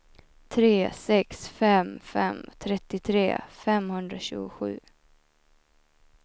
tre sex fem fem trettiotre femhundratjugosju